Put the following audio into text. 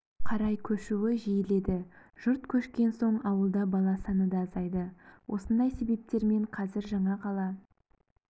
қарай көшуі жиіледі жұрт көшкен соң ауылда бала саны да азайды осындай себептермен қазір жаңақала